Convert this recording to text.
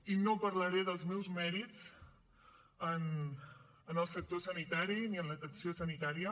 i no parlaré dels meus mèrits en el sector sanitari ni en l’atenció sanitària